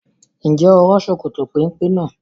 Ǹjẹ́ o rán Sokoto péńpé náà?